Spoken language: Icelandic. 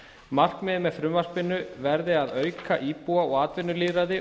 markmiðið með frumvarpinu verði að auka íbúa og atvinnulýðræði